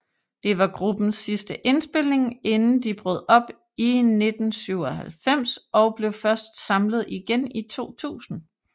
Det var gruppens sidste indspildning inden de brød op i 1997 og blev først samlet igen i 2000